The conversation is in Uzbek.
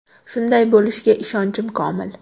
Shunday bo‘lishiga ishonchim komil.